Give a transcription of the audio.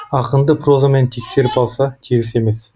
ақынды прозамен тексеріп алса теріс емес